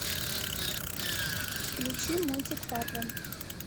включи мультик фарго